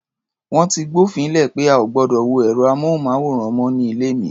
Wọ́n ti gbófin le pé a ò gbọdọ̀ wo ẹ̀rọ-amóhùnmáwòrán mọ́ ní ilé mi.